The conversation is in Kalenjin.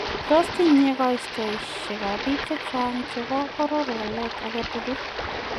Tos tinye koitosek ab biik chechang' chebo boror waleet agetugul?